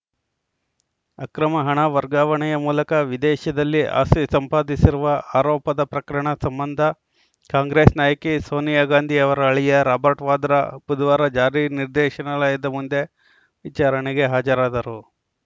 ಅಕ್ರಮ ಹಣ ವರ್ಗಾವಣೆಯ ಮೂಲಕ ವಿದೇಶದಲ್ಲಿ ಆಸ್ತಿ ಸಂಪಾದಿಸಿರುವ ಆರೋಪದ ಪ್ರಕರಣ ಸಂಬಂಧ ಕಾಂಗ್ರೆಸ್‌ ನಾಯಕಿ ಸೋನಿಯಾ ಗಾಂಧಿ ಅವರ ಅಳಿಯ ರಾಬರ್ಟ್‌ ವಾದ್ರಾ ಬುಧವಾರ ಜಾರಿ ನಿರ್ದೇಶನಾಲಯದ ಮುಂದೆ ವಿಚಾರಣೆಗೆ ಹಾಜರಾದರು